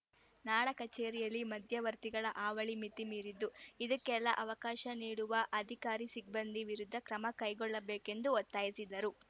ನಾಡ ಕಚೇರಿಯಲ್ಲಿ ಮಧ್ಯವರ್ತಿಗಳ ಹಾವಳಿ ಮಿತಿ ಮೀರಿದ್ದು ಇದಕ್ಕೆಲ್ಲಾ ಅವಕಾಶ ನೀಡುವ ಅಧಿಕಾರಿ ಸಿಬ್ಬಂದಿ ವಿರುದ್ಧ ಕ್ರಮ ಕೈಗೊಳ್ಳಬೇಕೆಂದು ಒತ್ತಾಯಿಸಿದರು